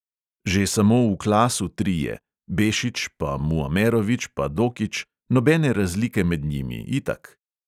Že samo v klasu trije, bešič pa muamerovič pa dokič, nobene razlike med njimi, itak.